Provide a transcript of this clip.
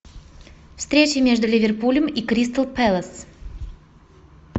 встреча между ливерпулем и кристал пэлас